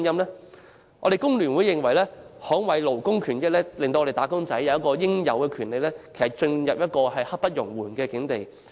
香港工會聯合會認為，捍衞勞工權益，讓"打工仔"得到應有權利，已經刻不容緩。